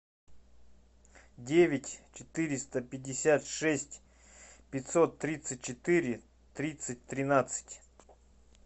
девять четыреста пятьдесят шесть пятьсот тридцать четыре тридцать тринадцать